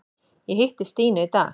Ég hitti Stínu í dag.